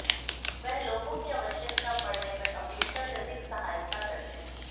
वह लोगों की आवश्यकता पडऩे पर अपेक्षा से अधिक सहायता करते हैं